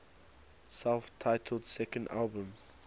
self titled second album